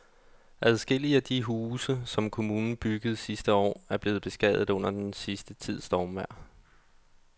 Adskillige af de huse, som kommunen byggede sidste år, er blevet beskadiget under den sidste tids stormvejr.